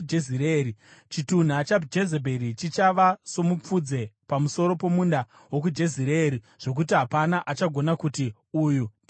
Chitunha chaJezebheri chichava somupfudze pamusoro pomunda wokuJezireeri, zvokuti hapana achagona kuti, ‘Uyu ndiye Jezebheri.’ ”